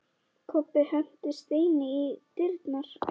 Kobbi henti steini í dyrnar.